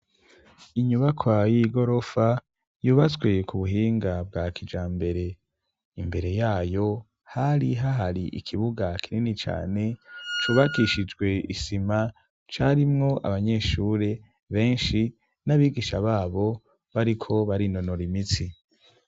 Inyubaka y'igorofa, yubatswe ku buhinga bwa kijambere, imbere yayo hari hahari ikibuga kinini cane cubakishijwe isima, carimwo abanyeshure benshi n'abigisha babo bariko barinonora imitsi.